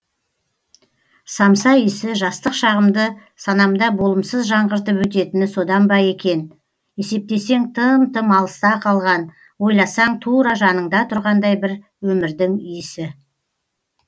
самса иісі жастық шағымды санамда болымсыз жаңғыртып өтетіні содан ба екен есептесең тым тым алыста қалған ойласаң тура жаныңда тұрғандай бір өмірдің иісі